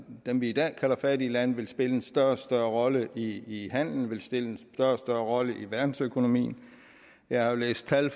dem vi i dag kalder fattige lande vil spille en større og større rolle i handelen vil spille en og større rolle i verdensøkonomien jeg har læst tal